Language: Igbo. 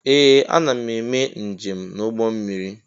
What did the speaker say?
Ee! Ana m eme njem n'ụgbọ mmiri.